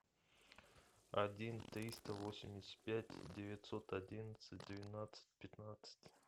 один триста восемьдесят пять девятьсот одиннадцать двенадцать пятнадцать